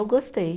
Eu gostei.